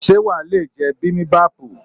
Ṣé wàá lè jẹ bimibapu?